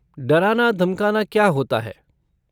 डराना धमकाना क्या होता है?